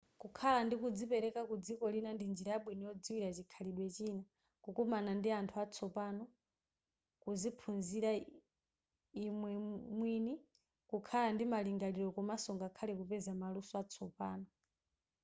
kukhala ndi kudzipereka kudziko lina ndi njira yabwino yodziwira chikhalidwe china kukumana ndi anthu atsopano kuziphunzira imwe mwini kukhala ndi malingaliro komanso ngakhale kupeza maluso atsopano